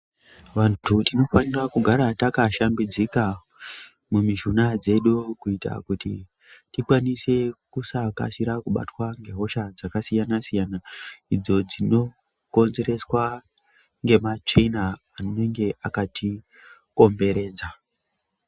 Vantu tinofanira kugara taka shambidzika mu mishuna dzedu kuitira kuti tikwanise kusa kasira kubatwa nge hosha dzaka siyana idzo dzino konzereswa nge matsvina anenge akati komberedza.